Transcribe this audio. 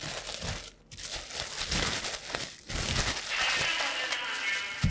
ஹம் five star hotel தான் ma'am வேணும்